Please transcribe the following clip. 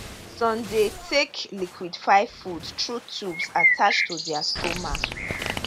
some dey take liquified food through tubes attached to dia stomachs